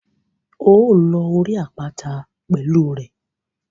Óò lọ orí àpáta pẹ̀lú rẹ̀.